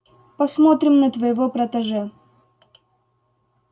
посмотрим на твоего протеже